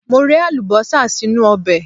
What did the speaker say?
Mo rẹ Àlùbọ́sà sínú ọbẹ̀.